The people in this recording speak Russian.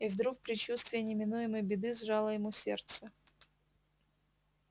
и вдруг предчувствие неминуемой беды сжало ему сердце